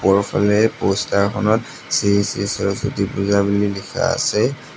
ওপৰফালে প'ষ্টাৰখনত শ্ৰী শ্ৰী সৰস্বতী পূজা বুলি লিখা আছে।